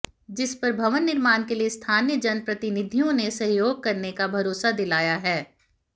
जिस पर भवन निर्माण के लिए स्थानीय जनप्रतिनिधियों ने सहयोग करने का भरोसा दिलाया है